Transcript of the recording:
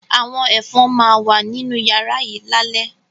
Àwọn Ẹ̀fọn máa wà nínú yàrá yìí ni alẹ́